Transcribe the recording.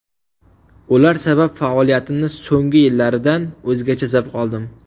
Ular sabab faoliyatimning so‘nggi yillaridan o‘zgacha zavq oldim.